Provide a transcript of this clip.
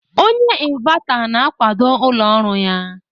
Onye inverter na-akwado ụlọ ọrụ ya